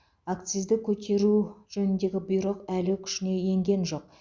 акцизді көтеру жөніндегі бұйрық әлі күшіне енген жоқ